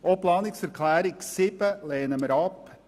Wir lehnen auch die Planungserklärung 7 ab.